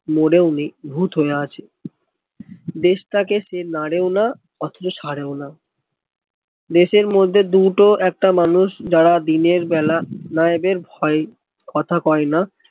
মরে ও নেই ভুত হয়ে আছে দেশটা কে সে নাড়ে ও না অথচ ছাড়ে ও না দেশের মধ্যে দুটো একটা মানুষ যারা দিনের বেলায় নায়কের ভয়ে কথা কয় না